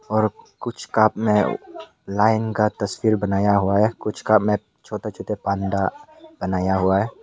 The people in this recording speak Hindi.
और कुछ कप में लाइन का तस्वीर बनाया हुआ है कुछ कप में छोटा छोटा बनाया हुआ है।